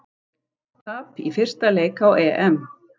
Tap í fyrsta leik á EM